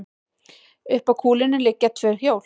Upp að kúlunni liggja tvö hjól.